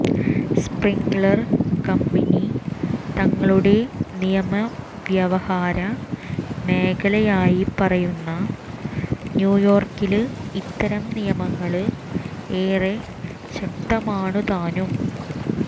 Sprinklr company തങ്ങളുടെ നിയമവ്യവഹാര മേഖലയായി പറയുന്ന ന്യൂയോര്ക്കില് ഇത്തരം നിയമങ്ങള് ഏറെ ശക്തമാണുതാനും